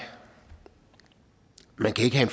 man kan ikke have